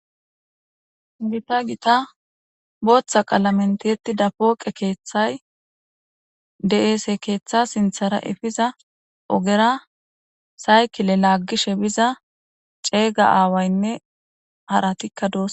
gita gita booththa qaalamen tiyetida pooqe keeththay de7eese keeththa sinthara efiza ogera saykile laaggishe biza ceeyga aawaynne haratikka doos